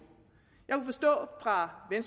jeg